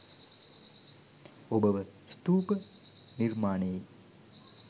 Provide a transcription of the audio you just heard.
ඔබව ස්තූප නිර්මාණයේ